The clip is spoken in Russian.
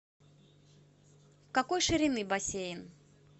какой ширины бассейн